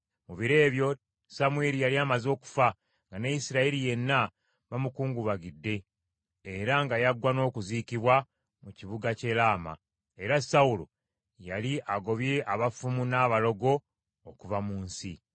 Mu biro ebyo Samwiri yali amaze okufa, nga ne Isirayiri yenna bamukungubagidde, era nga yaggwa n’okuziikibwa mu kibuga ky’e Laama. Era Sawulo yali agobye abafumu n’abalogo okuva mu nsi.